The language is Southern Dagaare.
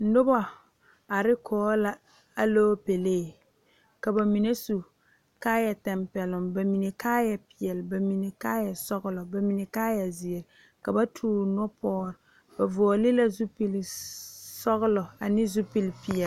Nobɔ are kɔge la aloopɛlee ka ba mine su kaayɛ tampɛloŋ ba mine kaayɛ peɛle ba mine kaayɛ sɔglɔ ba mine kaayɛ zeere la ba toore nupɔgre ba vɔɔle la zupilsɔglɔ ane zupilp.